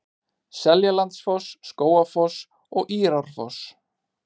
Seljalandsfoss, Skógafoss og Írárfoss.